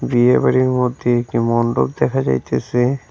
বিয়েবাড়ির মধ্যে একটি মণ্ডপ দেখা যাইতেসে।